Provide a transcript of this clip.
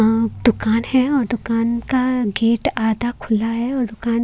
दुकान है और दुकान का गेट आधा खुला है और दुकान--